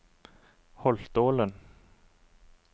Holtålen